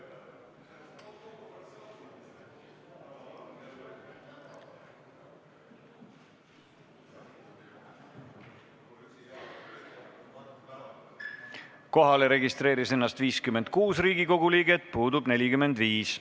Kohaloleku kontroll Kohale registreeris ennast 56 Riigikogu liiget, puudub 45.